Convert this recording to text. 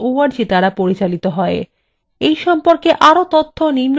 এই সম্পর্কে আরও তথ্য নিম্নলিখিত link থেকে পাওয়া যায়